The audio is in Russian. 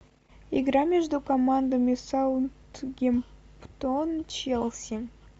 игра между командами саутегмптон челси